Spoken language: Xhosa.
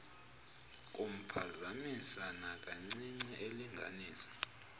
kumphazamisa nakancinci elinganisa